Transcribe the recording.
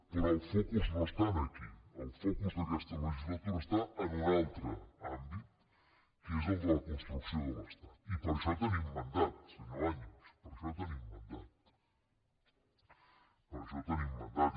però el focus no està aquí el focus d’aquesta legislatura està en un altre àmbit que és el de la construcció de l’estat i per a això tenim mandat senyor baños per a això tenim mandat